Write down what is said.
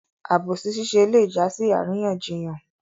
Àbòsí ṣiṣẹ́ lé jásí àríyànjiyàn